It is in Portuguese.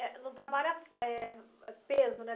Eh, não trabalha, eh, ãh, peso, né?